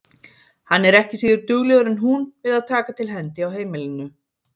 Hann er ekki síður duglegur en hún við að taka til hendi á heimilinu.